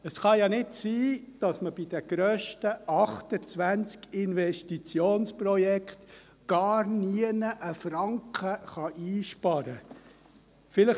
Es kann ja nicht sein, dass man bei den 28 grössten Investitionsprojekten überhaupt nirgends einen Franken einsparen kann.